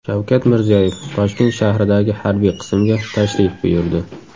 Shavkat Mirziyoyev Toshkent shahridagi harbiy qismga tashrif buyurdi.